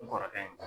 N kɔrɔkɛ ye